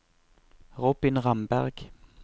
Robin Ramberg